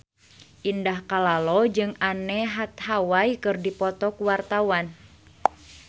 Indah Kalalo jeung Anne Hathaway keur dipoto ku wartawan